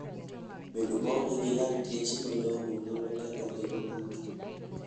Bedo maonge gi lakteche malong'o nyalo ketho ngima ng'ato.